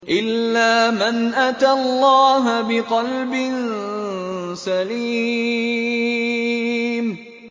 إِلَّا مَنْ أَتَى اللَّهَ بِقَلْبٍ سَلِيمٍ